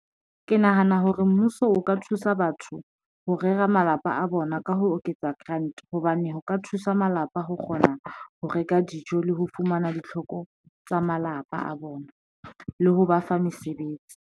Ke nahana hore mmuso o ka thusa batho ho rera malapa a bona ka ho oketsa grant hobane ho ka thusa malapa, ho kgona ho reka dijo le ho fumana ditlhoko tsa malapa a bona le ho ba fa mesebetsi.